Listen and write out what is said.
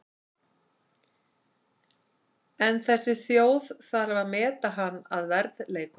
En þessi þjóð þarf að meta hann að verðleikum.